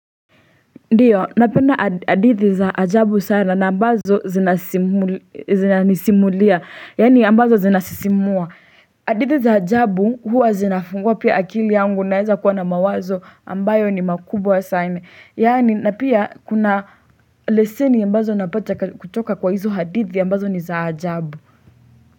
Ndiyo napenda hadithi za ajabu sana na ambazo zina nisimulia yaani ambazo zina sisimua hadithi za ajabu huwa zinafungua pia akili yangu naeza kuwa na mawazo ambayo ni makubwa sana yaani na pia kuna leseni ambazo napata kutoka kwa hizo hadithi ambazo ni za ajabu.